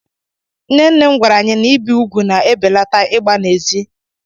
Nne nne m gwara anyị na ibi úgwù na-ebelata ịgba na-ezí.